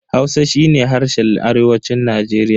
Hausa shi ne harshen arewacin Najeriya.